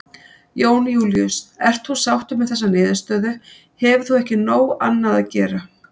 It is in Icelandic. Jón Júlíus: Ert þú sáttur með þessa niðurstöðu, hefur þú ekki nóg annað að gera?